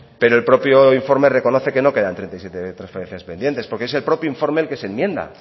pero el propio informe reconoce que no quedan treinta y siete transferencias pendientes porque es el propio informe el que se enmienda